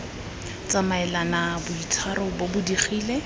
tsamaelane boitshwaro bo bo digile